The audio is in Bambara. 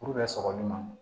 sɔgɔli ma